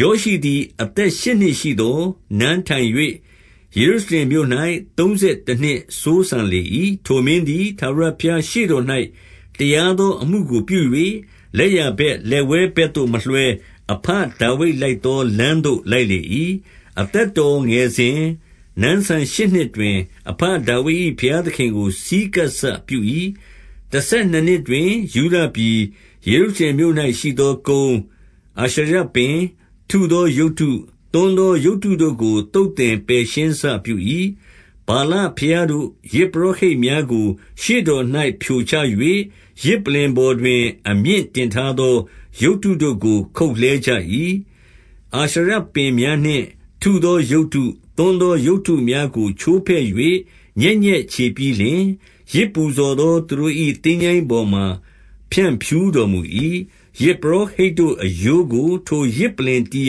ယောရှိသည် အသက်ရှစ်နှစ်ရှိသော် နန်းထိုင်၍ ယေရုရှလင်မြို့၌ သုံးဆယ်တနှစ် စိုးစံလေ၏။ 2 ထိုမင်းသည် ထာဝရဘုရားရှေ့တော်၌ တရား သောအမှုကိုပြု၍၊ လက်ျားဘက်လက်ဝဲဘက်သို့ မလွှဲ၊ အဘဒါဝိဒ်လိုက်သောလမ်းသို့ လိုက်လေ၏။ 3 အသက်တော်ငယ်စဉ်၊ နန်းစံရှစ်နှစ်တွင်၊ အဘ ဒါဝိဒ်၏ ဘုရားသခင်ကို ဆည်းကပ်စပြု၏။ တဆယ်နှစ် နှစ်တွင် ယုဒပြည်၊ ယေရုရှလင်မြို့၌ရှိသောကုန်း၊ အာရှရ ပင်၊ ထုသောရုပ်တု၊ သွန်းသောရုပ်တုတို့ကို သုတ်သင် ပယ်ရှင်းစပြု၏။ 4 ဗာလဘုရားတို့ ယဇ်ပလ္လင်များကို ရှေ့တော်၌ ဖြိုချ၍၊ ယဇ်ပလ္လင်ပေါ်တွင် အမြင့်တင်ထားသော ရုပ်တု တို့ကို ခုတ်လှဲကြ၏။ အာရှရပင်များနှင့်ထုသောရုပ်တု၊ သွန်းသောရုပ်တုများကိုချိုးဖဲ့၍ ညက်ညက်ချေပြီးလျှင်၊ ယဇ်ပူဇော်သောသူတို့၏ သင်္ချိုင်းပေါ်မှာ ဖြန့်ဖြူးတော် မူ၏။ 5 ယဇ်ပုရောဟိတ်တို့အရိုးကို ထိုယဇ်ပလ္လင်တည်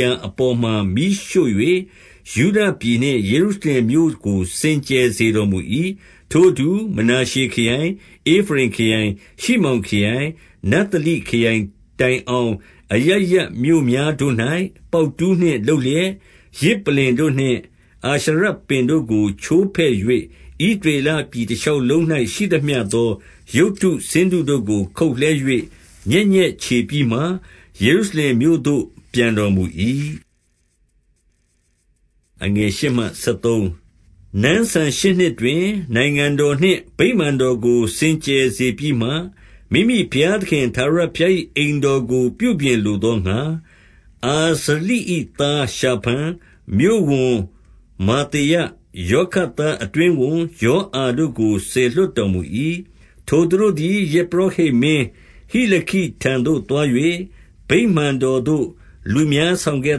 ရာအပေါ် မှာ မီးရှို့၍၊ ယုဒပြည်နှင့် ယေရုရှလင်မြို့ကို စင်ကြယ် စေတော်မူ၏။ 6 ထိုအတူ မနာရှေခရိုင်၊ ဧဖရိမ်ခရိုင်၊ ရှိမောင် ခရိုင်၊ နဿလိခရိုင် တိုင်အောင်၊ အရပ်ရပ်မြို့များတို့၌ ပေါက်တူးနှင့်လုပ်လျက်၊ 7 ယဇ်ပလ္လင်နှင့် အာရှရပင်တို့ကို ချိုးဖဲ့၍၊ ဣသ ရေလပြည်တလျှောက်လုံး၌ ရှိသမျှသောရုပ်တု ဆင်းတု တို့ကို ခုတ်လှဲ၍ ညက်ညက်ချေပြီးမှယေရှရုလင်မြို့သို့ ပြန်တော်မူ၏။ 8 နန်းစံဆယ်ရှစ်နှစ်တွင်၊ နိုင်ငံတော်နှင့် ဗိမာန် တော်ကို စင်ကြယ်စေပြီးမှ၊ မိမိဘုရားသခင် ထာဝရ ဘုရား၏ အိမ်တော်ကို ပြုပြင်လိုသောငှါ၊ အာဇလိ၏ သားရှာဖန်၊ မြို့ဝန်မာသေယ၊ ယောခတ်သားအတွင်းဝန် ယောအာတို့ကို စေလွှတ်တော်မူ၏။ 9 ထိုသူတို့သည် ယဇ်ပုရောဟိတ်မင်း ဟိလခိထံသို့ သွား၍၊ ဗိမာန်တော်သို့ လူများဆောင်ခဲ့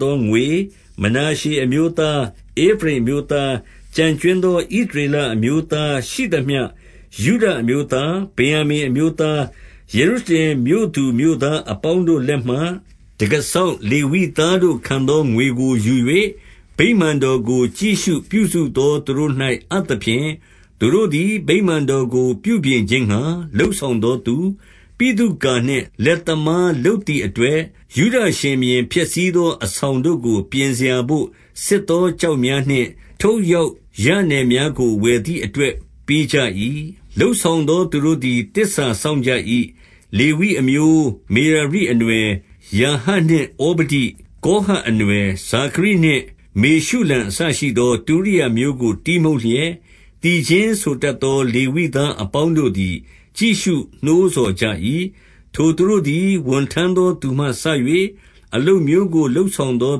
သောငွေ၊ မနာရှေအမျိုးသား၊ ဧဖရိမ်အမျိုးသား၊ ကျန်ကြွင်းသော ဣသရေလအမျိုးသားရှိသမျှ၊ ယုဒအမျိုးသား၊ ဗင်္ယာမိန် အမျိုးသား၊ ယေရုရှလင်မြို့သူမြို့သားအပေါင်းတို့လက်မှ တံခါးစောင့် လေဝိသားတို့ခံသော ငွေကိုယူ၍၊ 10 ဗိမာန်တော်ကိုကြည့်ရှုပြုစုသော သူတို့၌ အပ်သဖြင့်၊ သူတို့သည် ဗိမာန်တော်ကို ပြုပြင်ခြင်းငှါ လုပ်ဆောင်သောသူ၊ 11 ဗိသုကာနှင့် လက်သမားလုပ်သည့်အတွက်၊ ယုဒရှင်ဘုရင် ဖျက်ဆီးသောအဆောင်တို့ကို ပြင်စရာ ဘို့ ဆစ်သောကျောက်များနှင့် ထုပ်လျောက်ရနယ်များကို ဝယ်သည်အတွက် ပေးကြ၏။ 12 လုပ်ဆောင်သူတို့သည် သစ္စာစောင့်ကြ၏။ လေဝိအမျိုး၊ မေရာရိအနွယ်၊ ယာဟတ်နှင့်ဩဇဒိ၊ ကောဟတ်အနွှယ်၊ ဇာခရိနှင့် မေရှုလံအစရှိသော တူရိယာမျိုးကို တီးမှုတ်လျက်၊ သီချင်းဆိုတတ်သော လေဝိသာအပေါင်းတို့သည် ကြည့်ရှုနှိုးဆော်ကြ၏။ 13 ထိုသူတို့သည် ဝန်ထမ်းသောသူမှစ၍၊ အလုပ် မျိုးကို လုပ်ဆောင်သော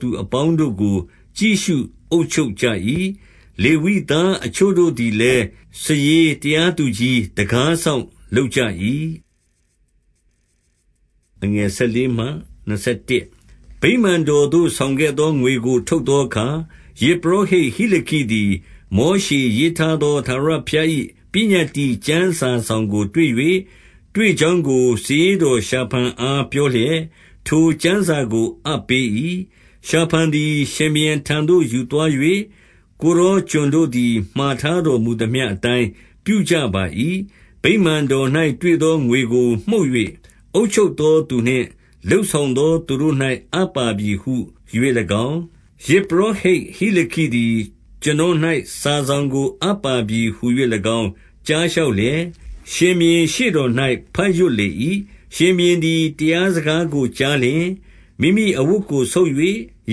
သူအပေါင်းတို့ကို ကြည့်ရှု အုပ်ချုပ်ကြ၏။ လေဝိသားအချို့တို့သည်လည်း စာရေး၊ တရားသူကြီး၊ တံခါးစောင့်လုပ်ကြ၏။ 14 ဗိမာန်တော်သို့ ဆောင်ခဲ့သောငွေကို ထုတ်သောအခါ၊ ယဇ်ပုရောဟိတ်ဟိလခိသည် မောရှေ ရေးထားသော ထာဝရဘုရား၏ ပညတ္တိကျမ်းစာစောင် ကို တွေ့၍၊ 15 တွေ့ကြောင်းကို စာရေးတော်ရှာဖန်အား ပြောလျက် ထိုကျမ်းစာကို အပ်ပေး၏။ 16 ရှာဖန်သည် ရှင်ဘုရင်ထံသို့ ယူသွား၍၊ ကိုယ် တော်ကျွန်တို့သည် မှာထားတော်မူသမျှအတိုင်း ပြုကြ ပါ၏။ 17 ဗိမာန်တော်၌ တွေ့သောငွေကို မှုတ်၍၊ အုပ်ချုပ် သောသူနှင့် လုပ်ဆောင်သောသူတို့၌ အပ်ပါပြီဟူ၍၎င်း၊ 18 ယဇ်ပုရောဟိတ်ဟိလခိသည် ကျွန်တော်၌ စာစောင်ကို အပ်ပါပြီဟူ၍၎င်း ကြားလျှောက်လျက်၊ ရှင်ဘုရင်ရှေ့တော်၌ ဘတ်ရွတ်လေ၏။ 19 ရှင်ဘုရင်သည် တရားစကားကိုကြားလျှင်၊ မိမိအဝတ်ကိုဆုတ်၍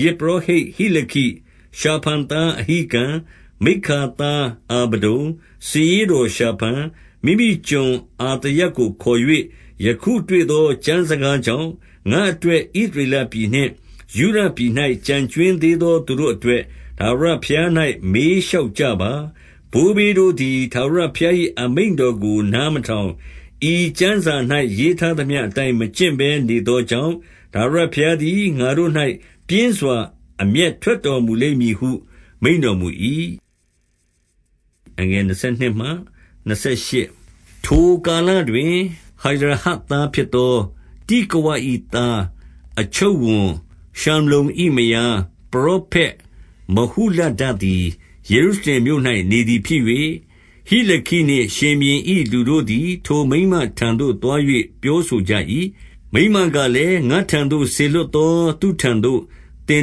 ၊ 20 ယဇ်ပုရောဟိတ် ဟိလခိ၊ ရှာဖန်သားအဟိကံ၊ မိက္ခာသား အာဗဒုန်၊ စာရေးတော်ရှာဖန်၊ မိမိကျွန်အာ သာယကို ခေါ်၍၊ 21 ယခုတွေ့သော ကျမ်းစကားကြောင့် ငါ့အတွက် ဣသရေလပြည်နှင့်ယုဒပြည်၌ ကျန်ကြွင်းသေးသော သူတို့အတွက် ထာဝရဘုရား၌ မေးလျှောက်ကြပါ။ ဘိုးဘေးတို့သည် ထာဝရဘုရား၏ အမိန့်တော်ကို နား မထောင်၊ ဤကျမ်းစာ၌ရေးထားသမျှ အတိုင်းမကျင့်ဘဲ နေသောကြောင့်၊ ထာဝရဘုရားသည် ငါတို့၌ပြင်းစွာ အမျက်ထွက်တော်မူလိမ့်မည်ဟု မိန့်တော်မူ၏။ 22 ထိုကာလတွင်၊ ဟရဟတ်သားဖြစ်သော တိကဝ ၏သားအချုပ် ဝန်ရှလ္လုံ၏မယား၊ ပရောဖက်မဟုလဒ သည် ယေရုရှလင်မြို့၌ နေသည်ဖြစ်၍၊ ဟိလခိနှင့် ရှင်ဘုရင်၏လူတို့သည် ထိုမိန်းမထံသို့သွား၍ ပြောဆို ကြ၏။ 23 မိန်းမကလည်း၊ ငါ့ထံသို့စေလွှတ်သောသူထံသို့ သင်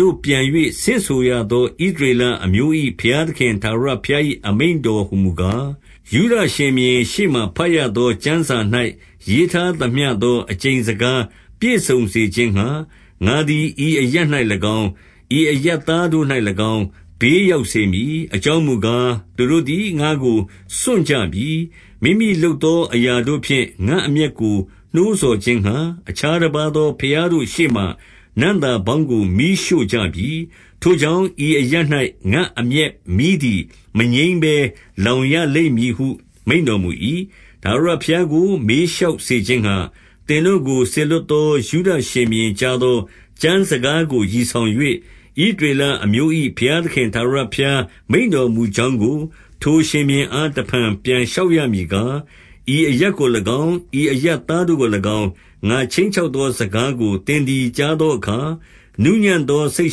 တို့ပြန်၍ ဆင့်ဆိုရသော ဣသရေလအမျိုး၏ ဘုရားသခင်ထာဝရဘုရား၏ အမိန့်တော်ဟူမူကား၊ 24 ယုဒရှင်ဘုရင်ရှေ့မှာ ဘတ်ရသောကျမ်းစာ၌ ရေးထားသမျှသော အကျိန်စကားပြည့်စုံစေခြင်းငှါ၊ ငါသည်ဤအရပ်၌၎င်း၊ ဤအရပ်သားတို့၌၎င်း၊ ဘေးရောက်စေမည်။ 25 အကြောင်းမူကား၊ သူတို့သည် ငါ့ကိုစွန့်ကြပြီ။ မိမိလုပ်သော အရာတို့ဖြင့် ငါ့အမျက်ကိုနှိုးဆော်ခြင်းငှါ၊ အခြားတပါးသော ဘုရားတို့ရှေ့မှာ နံ့သာပေါင်းကို မီးရှို့ကြပြီ။ ထိုကြောင့် ဤအရပ်၌ ငါ့အမျက်မီးသည် မငြိမ်းဘဲလောင်ရလိမ့်မည်ဟု မိန့်တော်မူ၏။ 26 ထာဝရဘုရားကို မေးလျှောက်စေခြင်းငှါ၊ သင်တို့ကိုစေလွှတ်သော ယုဒရှင်ဘုရင်ကြားသော ကျမ်းစကားကို ရည်ဆောင်၍၊ ဣသရေလအမျိုး၏ ဘုရားသခင်ထာဝရဘုရား မိန့်တော်မူကြောင်းကို ထိုရှင်ဘုရင်အား တဖန်ပြန်လျှောက်ရမည်ကား၊ 27 ဤအရပ်ကို၎င်း၊ ဤအရပ်သားတို့ကို၎င်း၊ ငါခြိမ်းချောက်သော စကားကို သင်သည်ကြားသောအခါ၊ နူးညံ့သောစိတ်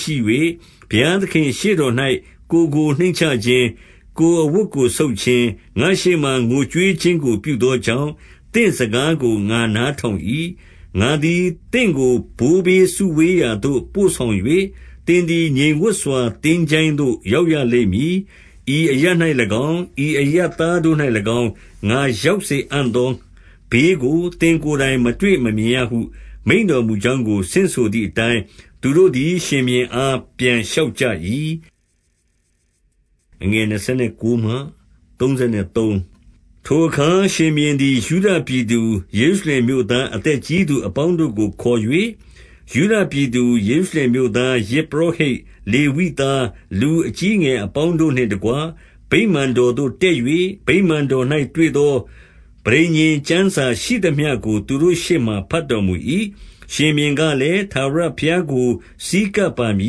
ရှိ၍၊ ဘုရားသခင့်ရှေ့တော်၌ ကိုယ်ကို နှိမ့်ချခြင်း၊ ကိုယ်အဝတ်ကိုဆုတ်ခြင်း၊ ငါ့ရှေ့မှာ ငိုကြွေး ခြင်းကိုပြုသောကြောင့်၊ သင့်စကားကို ငါနားထောင်၏။ 28 ငါသည် သင်ကို ဘိုးဘေးစုဝေးရာသို့ ပို့ဆောင် ၍၊ သင်သည် ငြိမ်ဝပ်စွာ သင်္ချိုင်းသို့ရောက်ရလိမ့်မည်။ ဤအရပ်၌၎င်း၊ ဤအရပ်သားတို့၌၎င်း၊ ဤအရပ်သားတို့ ၌၎င်း၊ ငါရောက်စေအံ့သောဘေးကို သင့်ကိုယ်တိုင် မတွေ့မမြင်ရဟု မိန့်တော်မူကြောင်းကို ဆင့်ဆိုသည် အတိုင်း၊ သူတို့သည် ရှင်ဘုရင်အား ပြန်လျှောက်ကြ၏။ 29 ထိုအခါ ရှင်ဘုရင်သည် ယုဒပြည်သူ၊ ယေရု ရှလင်မြို့သား အသက်ကြီးသူအပေါင်းတို့ကို ခေါ်၍၊ 30 ယုဒပြည်သူ ယေရုရှလင်မြို့သား၊ ယဇ်ပုရော ဟိတ်၊ လေဝိသား၊ လူအကြီးအငယ်အပေါင်းတို့နှင့်တကွ၊ ဗိမာန်တော်သို့ တက်၍ ဗိမာန်တော်၌တွေ့သော ပဋိညာဉ်ကျမ်းစာရှိသမျှကို သူတို့ရှေ့မှာ ဘတ်တော်မူ၏။ 31 ရှင်ဘုရင်ကလည်း၊ ထာဝရဘုရားကို ဆည်းကပ် ပါမ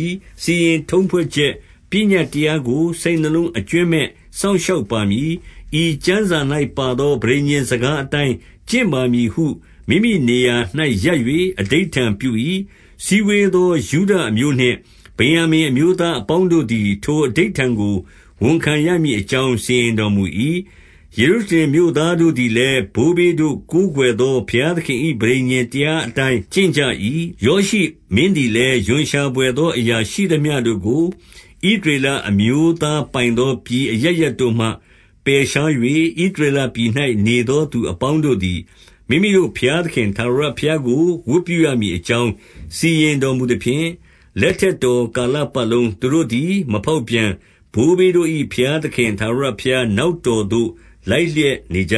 ည်။ စီရင်ထုံးဖွဲ့ချက်ပညတ်တရားကို စိတ်နှလုံး အကြွင်းမဲ့ စောင့်ရှောက်ပါမည်။ ဤကျမ်းစာ၌ ပါသော ပဋိညာဉ်စကားအတိုင်း ကျင့်ပါမည်ဟု မိမိနေရာ၌ရပ်၍ အဓိဋ္ဌာန်ပြု၏။ 32 စည်းဝေးသော ယုဒအမျိုးနှင့် ဗင်္ယာမိန် အမျိုး သားအပေါင်းတို့သည်၊ ထိုအဓိဋ္ဌာန်ကို ဝန်ခံရမည် အကြောင်း စီရင်တော်မူ၏။ ယေရုရှလင် မြို့သားတို့ သည်လည်း၊ ဘိုးဘေးတို့ကိုးကွယ်သော ဘုရားသခင်၏ ပဋိညာဉ်တရားအတိုင်း ကျင့်ကြ၏။ 33 ယောရှိမင်းသည်လည်း၊ ရွံရှာဘွယ်သောအရာ ရှိသမျှတို့ကို ဣသရေလအမျိုးသားပိုင်သော ပြည်အရပ် ရပ်တို့မှ ပယ်ရှား၍၊ ဣသရေလအမျိုးသားပိုင်သော ပြည်အရပ်ရပ်တို့မှ ပယ်ရှား၍၊ ဣသရေလပြည်၌ နေသော သူအပေါင်းတို့သည်၊ မိမိတို့ဘုရားသခင် ထာဝရ ဘုရားကို ဝတ်ပြုရမည်အကြောင်း၊ စီရင်တော်မူသဖြင့်၊ လက်ထက်တော်ကာလပတ်လုံး သူတို့သည် မဖောက်ပြန်၊ ဘိုးဘေးတို့၏ ဘုရားသခင် ထာဝရဘုရားနောက်တော်သို့ လိုက်လျက်နေကြ